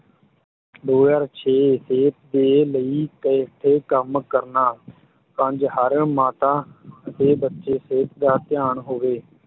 ਦੋ ਹਜ਼ਾਰ ਛੇ ਸਿਹਤ ਦੇ ਲਈ ਇਕੱਠੇ ਕੰਮ ਕਰਨਾ ਪੰਜ ਹਰ ਮਾਤਾ ਅਤੇ ਬੱਚੇ ਸਿਹਤ ਦਾ ਧਿਆਨ ਹੋਵੇ।